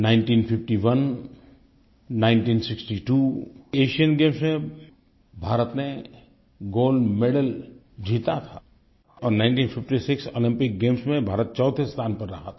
1951 1962 Asian games में भारत ने gold medal जीता था और 1956 ओलम्पिक गेम्स में भारत चौथे स्थान पर रहा था